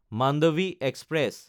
Mandvi express